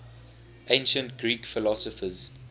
ancient greek philosophers